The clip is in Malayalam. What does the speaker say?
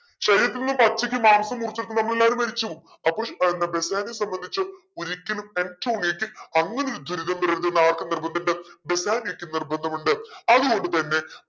ശരീരത്തിന്ന് പച്ചക്ക്‌ മാംസം മുറിച്ചെടുക്കുമ്പോ നമ്മളെല്ലാരും മരിചു പോകും അപ്പൊ എന്താ ബെസാനിയോ സംബന്ധിച്ചു ഒരിക്കലും ആൻറ്റോണിയയ്ക്ക് അങ്ങനൊരു ദുരിതം വരരുതെന്ന് ആർക്ക് നിർബന്ധിണ്ട് ബെസാനിയോക്ക് നിർബന്ധമുണ്ട് അതുകൊണ്ട് തന്നെ